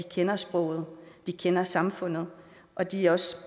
kender sproget kender samfundet og de er også